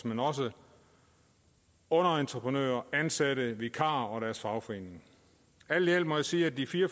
men også underentreprenører ansatte vikarer og deres fagforeninger alt i alt må jeg sige at de fire